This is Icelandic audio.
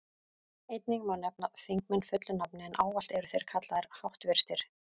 Einnig má nefna þingmenn fullu nafni, en ávallt eru þeir kallaðir háttvirtir.